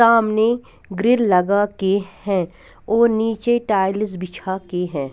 सामने ग्रिल लगा के हैं और नीचे टाइल्स बिछा के हैं।